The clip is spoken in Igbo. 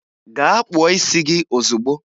Gaa kpụọ isi gi ozigbo!